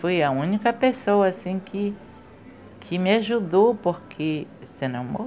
Foi a única pessoa assim que me ajudou porque senão mo...